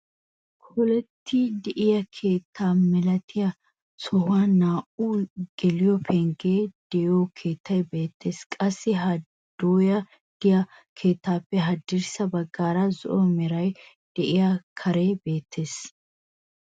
Kolettiidi de'iyaa keettaa milatiyaa sohuwaan naa"u geliyoo penggee de'iyoo keettay beettees. Qassi ha dooya de'iyaa keettaappe hadirssa baggaara zo'o meraara de'iyaa karee beettees.